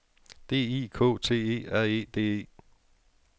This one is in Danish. D I K T E R E D E